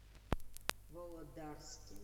володарске